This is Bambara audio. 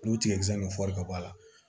N'o tigɛjɛn ni fɔri ka bɔ a la